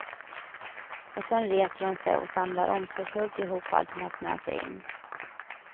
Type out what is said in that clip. Och sen reser hon sig och samlar omsorgsfullt ihop allt hon haft med sig in.